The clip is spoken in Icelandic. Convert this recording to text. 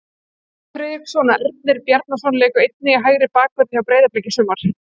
Guðmundur Friðriksson og Ernir Bjarnason léku einnig í hægri bakverði hjá Breiðabliki í sumar.